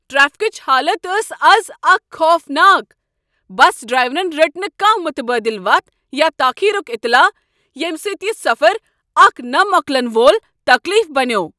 ٹریفکٕچ حالت ٲس از اکھ خوف ناک۔ بس ڈرایورن رٔٹ نہٕ کانٛہہ متبٲدل وتھ یا تٲخیرک اطلاع، ییٚمہ سۭتۍ یہ سفر اکھ نہ مۄکلن وول تکلیٖف بنیوو۔